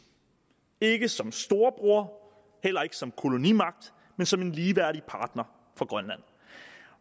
ikke som storebror heller ikke som kolonimagt men som en ligeværdig partner for grønland